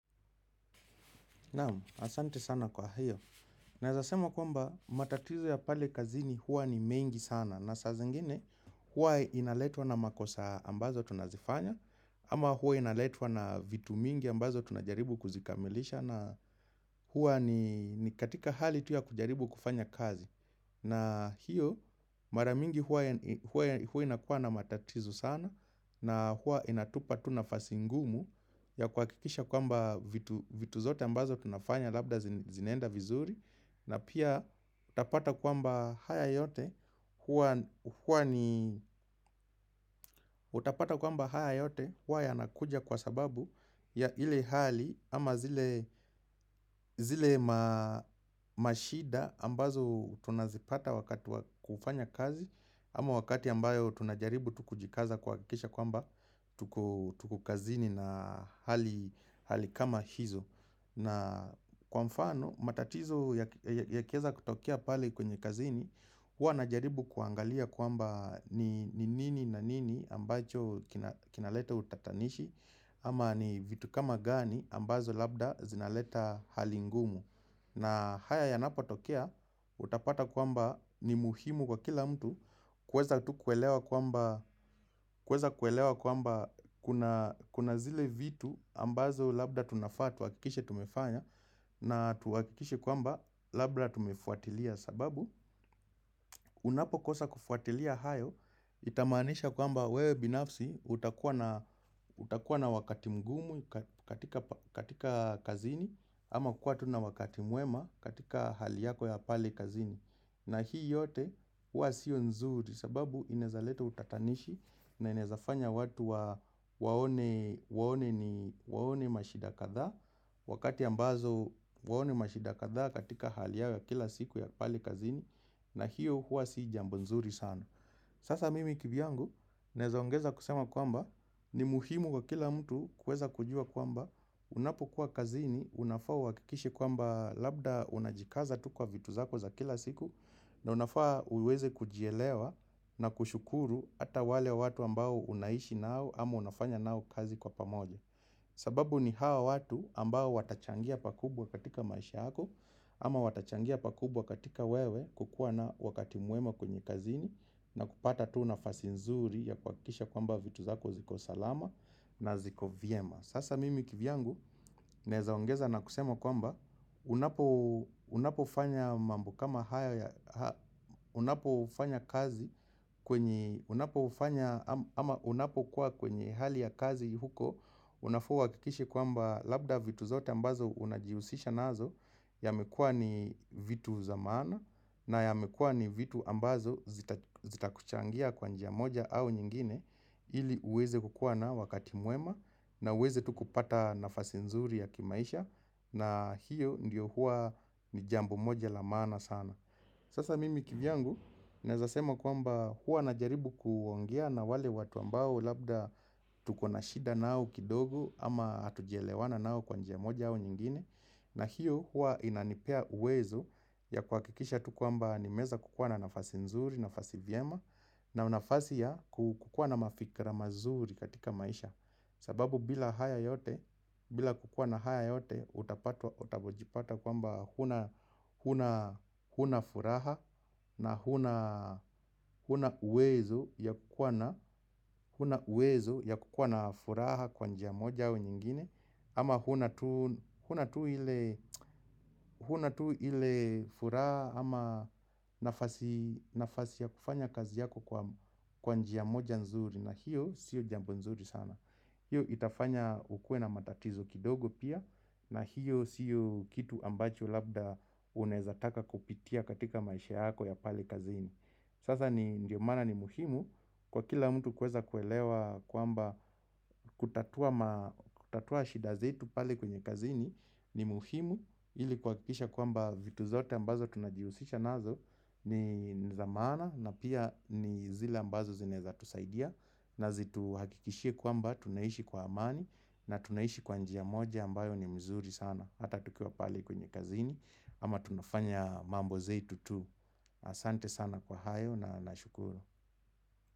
Naam, asante sana kwa hiyo. Naezasema kwamba, matatizo ya pale kazini huwa ni mengi sana. Na saa zingine, huwa inaletwa na makosa ambazo tunazifanya, ama huwa inaletwa na vitu mingi ambazo tunajaribu kuzikamilisha, na huwa ni katika hali tu ya kujaribu kufanya kazi. Na hiyo, mara mingi huwa inakuwa na matatizo sana, na huwa inatupa tu nafasi ngumu ya kuhakikisha kwamba vitu zote ambazo tunafanya, labda zinaenda vizuri na pia utapata kwamba haya yote utapata kwamba haya yote huwa yanakuja kwa sababu ya ile hali ama zile mashida ambazo tunazipata wakati wa kufanya kazi Ama wakati ambayo tunajaribu tu kujikaza kuhakisha kwamba tuko kazini na hali kama hizo na kwa mfano matatizo yakiweza kutokea pale kwenye kazini huwa najaribu kuangalia kwamba ni nini na nini ambacho kinaleta utatanishi Ama ni vitu kama gani ambazo labda zinaleta hali ngumu na haya yanapotokea utapata kwamba ni muhimu kwa kila mtu kuweza tu kuelewa kwamba kuna zile vitu ambazo labda tunafaa tuhakikishe tumefanya na tuhakikishe kwamba labda tumefuatilia sababu. Unapokosa kufuatilia hayo, itamaanisha kwamba wewe binafsi utakuwa na wakati mgumu katika kazini Ama kuwa tu na na wakati mwema katika hali yako ya pale kazini na hii yote huwa sio nzuri sababu inaweza leta utatanishi na inawezafanya watu waone mashida kadhaa Wakati ambazo waone mashida kadhaa katika hali yao ya kila siku ya pale kazini na hiyo huwa si jambo nzuri sana Sasa mimi kivyangu nawezaongeza kusema kwamba ni muhimu kwa kila mtu kuweza kujua kwamba Unapokuwa kazini, unafaa uhakikishe kwamba Labda unajikaza tu kwa vitu zako za kila siku na unafaa uweze kujielewa na kushukuru hata wale watu ambao unaishi nao Ama unafanya nao kazi kwa pamoja sababu ni hawa watu ambao watachangia pakubwa katika maisha hako Ama watachangia pakubwa katika wewe kukuwa na wakati mwema kwenye kazini na kupata tu nafasi nzuri ya kuhakikisha kwamba vitu zako ziko salama na ziko vyema. Sasa mimi kivyangu naezaongeza na kusema kwamba unapofanya mambo kama haya unapofanya kazi kwenye unapofanya ama unapokuwa kwenye hali ya kazi huko Unafaa uhakikishe kwamba labda vitu zote ambazo unajihusisha nazo yamekuwa ni vitu za maana na yamekuwa ni vitu ambazo zitakuchangia kwa njia moja au nyingine ili uweze kukuwa na wakati mwema na uweze tu kupata nafasi nzuri ya kimaisha na hiyo ndiyo huwa ni jambo moja la maana sana Sasa mimi kivyangu naezasema kwamba huwa najaribu kuongea na wale watu ambao Labda tukona shida nao kidogo Ama hatujaelewana nao kwa njia moja au nyingine na hiyo huwa inanipea uwezo ya kuhakikisha tu kwamba nimeweza kukuwa na nafasi nzuri nafasi jema na nafasi ya kukuwa na mafikra mazuri katika maisha sababu bila haya yote bila kukuwa na haya yote Utapatwa utapojipata kwamba Huna furaha na huna uwezo ya kukuwa na uwezo ya kukuwa na furaha kwa njia moja au nyingine ama huna tu huna tu ile huna tu ile furaha ama nafasi nafasi ya kufanya kazi yako kwa njia moja nzuri na hiyo sio jambo nzuri sana. Hiyo itafanya ukuwe na matatizo kidogo pia na hiyo siyo kitu ambacho labda unaweza taka kupitia katika maisha yako ya pale kazini. Sasa ndio maana ni muhimu kwa kila mtu kuweza kuelewa kwamba kutatua ma kutatua shida zetu pale kwenye kazini ni muhimu ili kuhakikisha kwamba vitu zote ambazo tunajihusisha nazo ni za maana na pia ni zile ambazo zinaweza tusaidia na zituhakikishie kwamba tunaishi kwa amani na tunaishi kwa njia moja ambayo ni mzuri sana hata tukiwa pale kwenye kazini ama tunafanya mambo zetu tu asante sana kwa hayo na nashukuru.